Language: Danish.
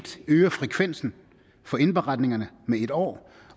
øger frekvensen for indberetningerne med et år